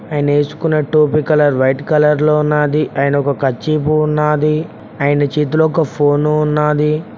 ఆయన వేసుకున్న టోపీ కలర్ వైట్ కలర్ లో ఉన్నది అండ్ ఒక కర్చీఫ్ ఉన్నాది ఆయన చేతిలో ఒక ఫోను ఉన్నది.